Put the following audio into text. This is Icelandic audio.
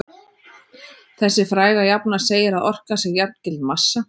Þessi fræga jafna segir að orka sé jafngild massa.